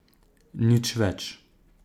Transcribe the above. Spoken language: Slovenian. Nič več.